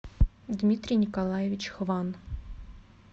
дмитрий николаевич хван